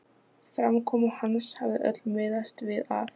Framkoma hans hafði öll miðast við að